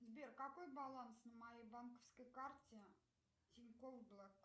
сбер какой баланс на моей банковской карте тинькофф блэк